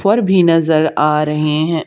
पर भी नजर आ रहे हैं।